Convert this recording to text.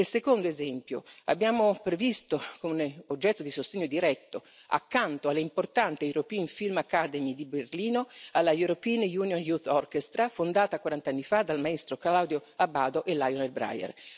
E il secondo esempio abbiamo previsto un oggetto di sostegno diretto, accanto all'importante European Film Academy di Berlino, alla European Union Youth Orchestra fondata quarant'anni fa dal maestro Claudio Abbado e da Lionel Bryer.